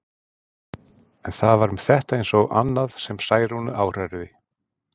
En það var með þetta eins og annað sem Særúnu áhrærði.